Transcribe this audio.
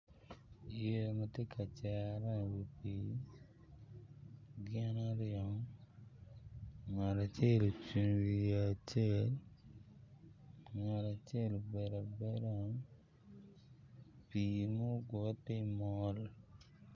Yeya ma tye ka cere i wi pii gin aryo ngat acel ocung i wi yeya ngat acel obedo abeda pii mu gure ti mol